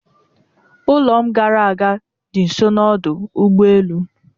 Ụlọ m gara aga dị nso n'ọdụ ụgbọ elu